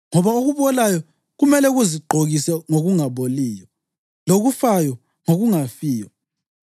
Ngoba okubolayo kumele kuzigqokise ngokungaboliyo, lokufayo ngokungafiyo.